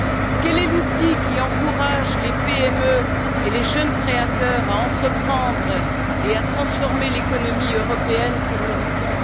Quel est l'outil qui encourage les PME et les jeunes créateurs à entreprendre et à transformer l'économie européenne pour l'horizon